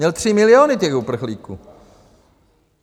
Měl 3 miliony těch uprchlíků.